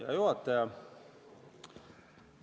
Hea juhataja!